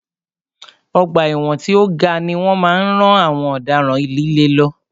Ọgbà ẹ̀wọ̀n tí o ga ni wọ́n máa ń rán àwọn ọ̀daràn líle lọ.